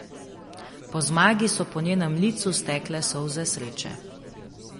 Po zmagi so po njenem licu stekle solze sreče.